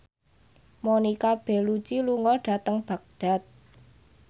Monica Belluci lunga dhateng Baghdad